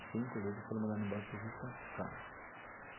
Os cinco líderes foram mandados embora por justa causa.